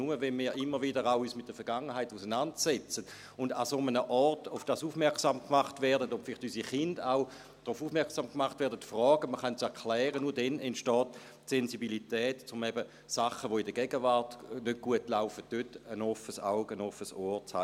Nur wenn wir uns immer wieder auch mit der Vergangenheit auseinandersetzen und an einem solchen Ort auf das aufmerksam gemacht werden und vielleicht auch unsere Kinder darauf aufmerksam gemacht werden und fragen – man kann es erklären –, nur dann entsteht die Sensibilität, um eben bei Sachen, die in der Gegenwart nicht gut laufen, ein offenes Auge, ein offenes Ohr zu haben.